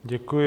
Děkuji.